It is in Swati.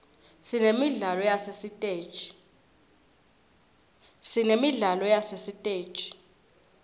sinemidlalo yasesiteji